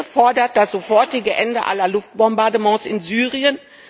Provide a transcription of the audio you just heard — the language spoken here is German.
Die Linke fordert das sofortige Ende aller Luftbombardements in Syrien.